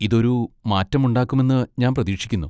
ഇത് ഒരു മാറ്റമുണ്ടാക്കുമെന്ന് ഞാൻ പ്രതീക്ഷിക്കുന്നു.